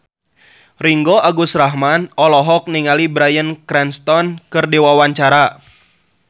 Ringgo Agus Rahman olohok ningali Bryan Cranston keur diwawancara